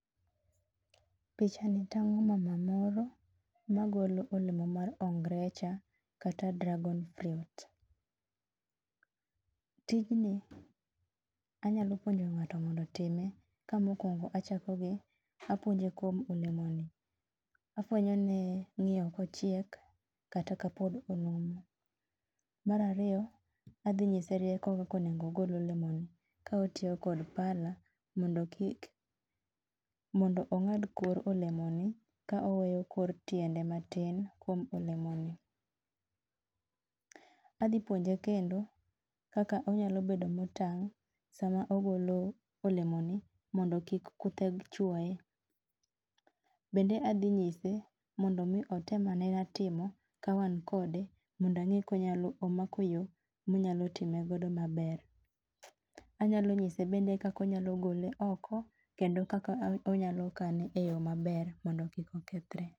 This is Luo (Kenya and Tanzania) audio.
pichni tango mama moro magolo olemo mar ongrecha kata dragon fruit tijni anyalo puonjo ngato mondo time ka mokuongo achako gi apuonje kuom olemo ni afwenyone ngiyo kochiek kata ka pod onumu marariyo adhi nyise rieko kaka onego ogol olemoni kotiyo kod pala mondo kik mondo ongad kor olemo ni kaoweyo kor tiende matin kuom olemoni. adhi puonje kendo kaka onyalo bedo motang sama ogolo olemoni mondo kik kuthe chuoe bende adhi nyise mondo otemane timo kawan kode mondange komako yoo monyalo time godo maber anyalo nyise bende kaka onyalo gole oko kendo kakonyalo kane e yoo maber mondo kik okethre